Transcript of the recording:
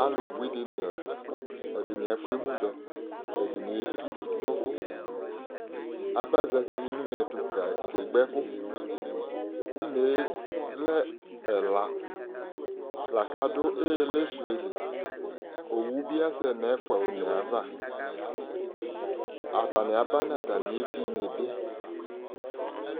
alò bui di ni la ɛdini afò emu dɔ ɛdini etu n'uvò aba zati no une ɛto kegba ɛkò une yɛ lɛ ɛla la kò adu ili su yɛ li owu bi asɛ no ɛfua one ava atani aba n'atami evi ni bi